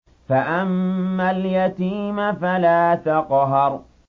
فَأَمَّا الْيَتِيمَ فَلَا تَقْهَرْ